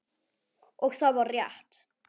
Og það var rétt.